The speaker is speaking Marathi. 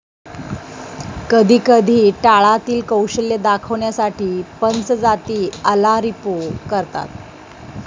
कधीकधी टाळातील कौशल्य दाखवण्यासाठी पंचजाती अलारिपू करतात.